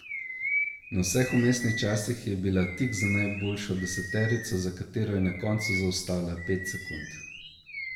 Na vseh vmesnih časih je bila tik za najboljšo deseterico, za katero je na koncu zaostala pet sekund.